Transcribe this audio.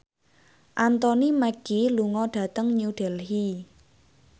Anthony Mackie lunga dhateng New Delhi